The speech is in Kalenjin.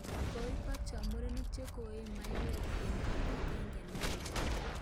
Koibokcho murenik che koee maiwek eng kot agenge neoos